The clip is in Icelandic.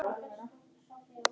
Á hún einn son.